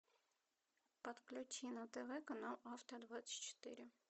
подключи на тв канал авто двадцать четыре